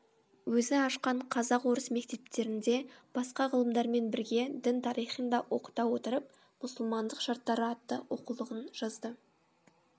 өзі ашқан қазақ орыс мектептерінде басқа ғылымдармен бірге дін тарихын да оқыта отырып мұсылмандық шарттары атты оқулығын жазды